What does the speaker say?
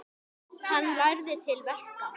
Hann lærði til verka.